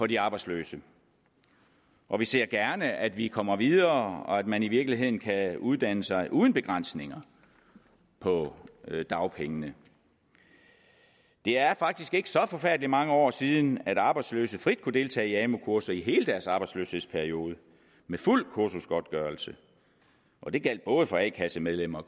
de arbejdsløse og vi ser gerne at vi kommer videre og at man i virkeligheden kan uddanne sig uden begrænsninger på dagpengene det er faktisk ikke så forfærdelig mange år siden at arbejdsløse frit kunne deltage i amu kurser i hele deres arbejdsløshedsperiode med fuld kursusgodtgørelse og det gjaldt både for a kasse medlemmer og